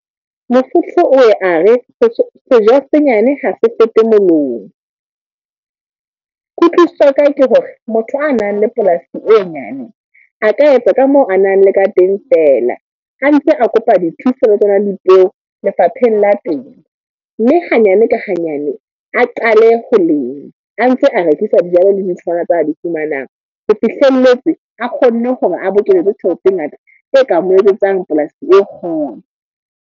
Mosotho o ye a re, se ja se nyane ha se fete molomo. Kutlwisiso ya ka ke hore, motho a nang le polasi e nyane, a ka etsa ka moo a nang le ka teng fela. A ntse a kopa dithuso ho bo radipeo, lefapheng la teng. Mme hanyane ka hanyane, a qale ho lema a ntse a rekisa dijalo le ditholwana tse a di fumanang. Ho fihlelletse a kgonne hore a bokeletse tjhelete e ngata, e ka mo eletsang polasi e kgolo.